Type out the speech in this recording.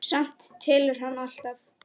Samt telur hann alltaf.